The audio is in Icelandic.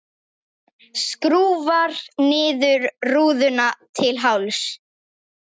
Skrúfar niður rúðuna til hálfs.